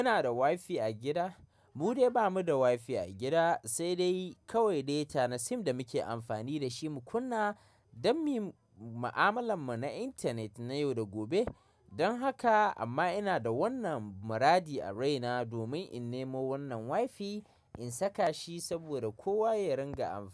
Kuna da wifi a gida? Mu dai ba mu da wi, -fi a gida, sai dai kawai data na sim da muke amfani da shi mu kunna don mu yi ma'amalar mu na intanet na yau da gobe. Don haka, amma ina da wannan muradi a raina domin in nemo wannan wifi in saka shi saboda kowa ya ringa amfani.